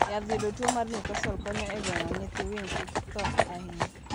Yadh yudo tuwo mar Newcastle konyo e geng'o nyithi winy kik tho ahinya.